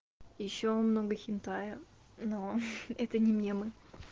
ещё много хентая но это не мемы